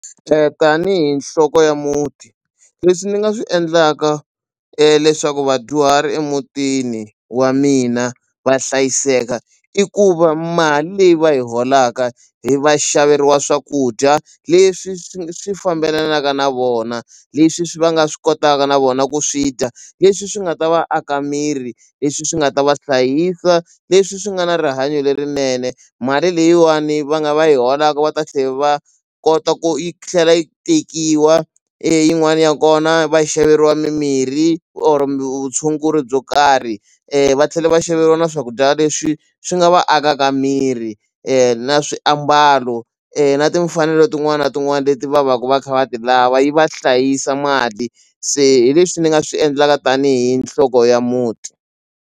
Tanihi nhloko ya muti leswi ni nga swi endlaka leswaku vadyuhari emutini wa mina va hlayiseka i ku va mali leyi va yi holaka hi va xaveriwa swakudya leswi swi swi fambelanaka na vona leswi swi va nga swi kotaka na vona ku swi dya leswi swi nga ta va aka miri leswi swi nga ta va hlayisa leswi swi nga na rihanyo lerinene mali leyiwani va nga va yi holaku va ta tlhe va kota ku yi tlhela yi tekiwa yin'wani ya kona va xaveriwa mimirhi or mutshunguri byo karhi va tlhela va xaveriwa na swakudya leswi swi nga va akaka miri na swiambalo na timfanelo tin'wana na tin'wana leti va va ku va kha va ti lava yi va hlayisa mali se hi leswi ni nga swi endlaka tanihi nhloko ya muti.